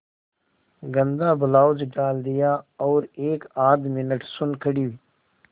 गंदा ब्लाउज डाल दिया और एकआध मिनट सुन्न खड़ी